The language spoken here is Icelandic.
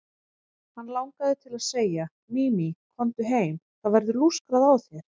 Hann langaði til að segja: Mimi, komdu heim, það verður lúskrað á þér.